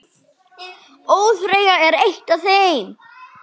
ÓÞREYJA er eitt af þeim.